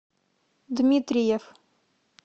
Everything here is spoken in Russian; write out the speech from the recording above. дмитриев